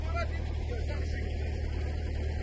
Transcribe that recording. Yox, yerə eləmə ha, yox yerə.